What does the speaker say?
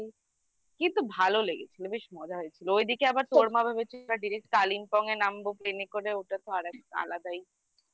কিন্তু ভালো লেগেছিল বেশ মজা হয়েছিল ওইদিকে আবার তোর মা ভেবেছিল direct Kalimpong এ নামবো plain এ করে ওটা তো আর একটা আলাদাই